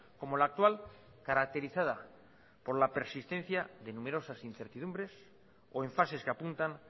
como la actual caracterizada por la persistencia de numerosas incertidumbres o en fases que apuntan